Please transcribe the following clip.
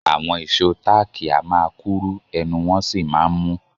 Àwọn ìṣó táákì a máa kúrú ẹnu wọn sì máa ń mú